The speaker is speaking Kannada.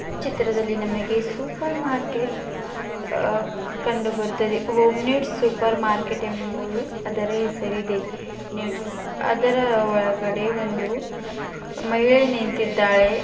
ಚಿತ್ರದಲ್ಲಿ ನಮಗೆ ಸೂಪರ್ ಮಾರ್ಕೆಟ್ ಅಹ್ ಕಂಡು ಬರುತ್ತದೆ ಹೋಮ್ ಮೇಡ್ ಸೂಪರ್ ಮಾರ್ಕೆಟ್ ಎಂಬುವುದು ಅದರ ಹೆಸರಿದೆ ನೆಡ್ಸ್ ಅದರ ಒಳಗೆ ಒಂದು ಮಹಿಳೆ ನಿಂತಿದ್ದಾಳೆ.